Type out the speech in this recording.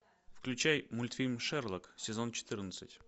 включай мультфильм шерлок сезон четырнадцать